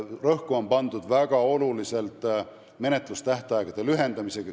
Rõhku on pandud menetlustähtaegade väga olulisel määral lühendamisele.